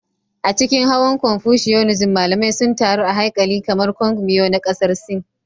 A cikin hawan Confucianism, malamai sun taru a haikali kamar Kong Miao na Ƙasar Sin.